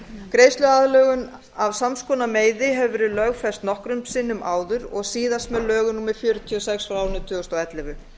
greiðsluaðlögun af sams konar meiði hefur verið lögfest nokkrum sinnum áður og síðast með lögum númer fjörutíu og sex tvö þúsund og ellefu